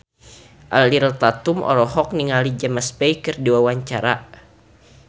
Ariel Tatum olohok ningali James Bay keur diwawancara